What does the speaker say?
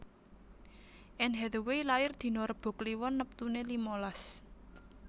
Anne Hathaway lair dino Rebo Kliwon neptune limalas